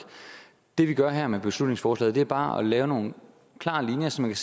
det vi gør her med beslutningsforslaget er bare at lægge nogle klare linjer så man